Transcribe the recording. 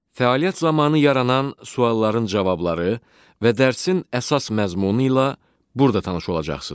Fəaliyyət zamanı yaranan sualların cavabları və dərsin əsas məzmunu ilə burada tanış olacaqsınız.